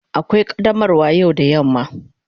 Akwai qaddamarwa yau da yamma.